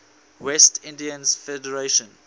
west indies federation